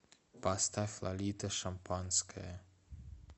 поставь лолита шампанское